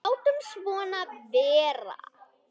Látum svona vera.